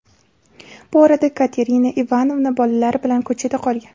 Bu orada Katerina Ivanovna bolalari bilan ko‘chada qolgan.